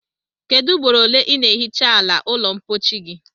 Kedu ugboro ole i na ehicha ala ulo mpochi gi?